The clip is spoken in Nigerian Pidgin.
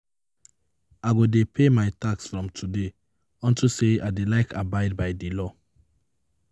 I go dey pay my tax from today unto say I dey like abide by the law